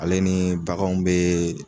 Ale ni baganw bɛ.